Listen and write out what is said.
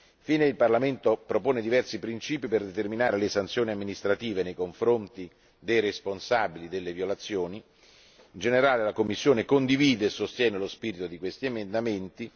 Infine, il Parlamento propone diversi principi per determinare le sanzioni amministrative nei confronti dei responsabili delle violazioni. In generale la Commissione condivide e sostiene lo spirito di questi emendamenti.